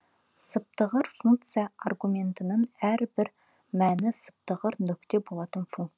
сыптығыр функция аргументінің әрбір мәні сыптығыр нүкте болатын функция